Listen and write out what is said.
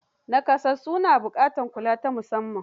Nakasassu na buƙatar kulawa ta musamman.